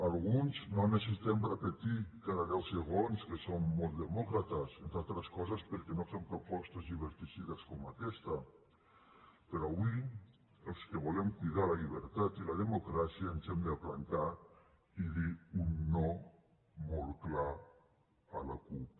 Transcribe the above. alguns no necessitem repetir cada deu segons que som molt demòcrates entre altres coses perquè no fem propostes lliberticides com aquesta però avui els que volem cuidar la llibertat i la democràcia ens hem de plantar i dir un no molt clar a la cup